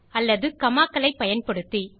அல்லது காமா களை பயன்படுத்தி